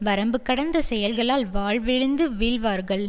வரம்பு கடந்த செயல்களால் வாழ்விழந்து வீழ்வார்கள்